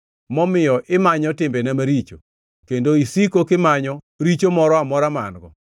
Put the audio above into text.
momiyo imanyo timbena maricho kendo isiko kimanyo richo moro amora ma an-go,